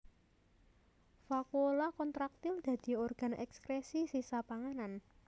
Vakuola kontraktil dadi organ èkskrèsi sisa panganan